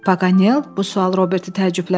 Paganel, bu sual Robert təəccübləndirdi.